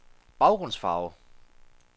baggrundsfarve